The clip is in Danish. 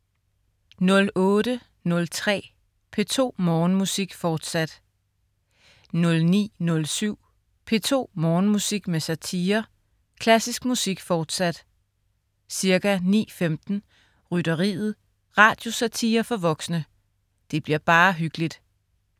08.03 P2 Morgenmusik, forsat 09.07 P2 Morgenmusik med satire. Klassisk musik, fortsat. Ca. 9.15: Rytteriet. Radiosatire for voksne. Det bliver bare hyggeligt